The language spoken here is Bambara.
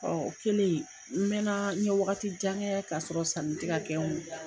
Ɔ o kelen n mɛna n ye wagati wagati jan kɛ ka sɔrɔ sanni ti ka kɛ n kun